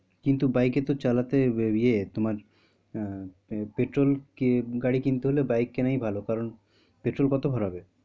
কিন্তু bike এ তো চালাতে আহ ইয়ে তোমার আহ petrol কে গাড়ি কিনতে হলে bike কেনাই ভালো কারণ petrol কত ভাড়া হবে?